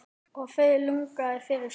Og það launaði fyrir sig.